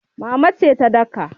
Mama ce ta daka.